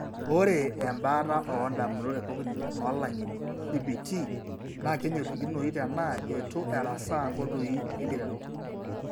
Ore embaata oondamunot ecognitive oolang'eni (CBT) naa kenyorikinoyu tenaa eitu erasaa inkoitoi enkiteru.